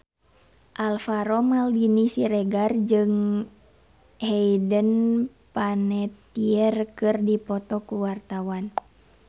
Alvaro Maldini Siregar jeung Hayden Panettiere keur dipoto ku wartawan